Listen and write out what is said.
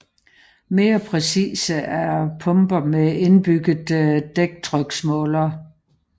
Mere præcise er pumper med indbygget dæktryksmåler